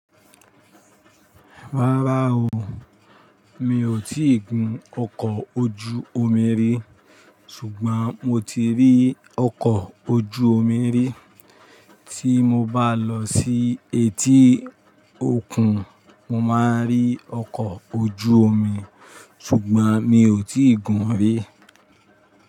Rárá o, mi ò tí ì gun ọkọ̀ ojú omi rí, ṣùgbọ́n mo ti rí ọkọ̀ ojú omi rí. Tí mo bá lọ sí etí òkun, mo máa rí ọkọ̀ ojú omi, ṣùgbọ́n mi ò tí ì gun rí.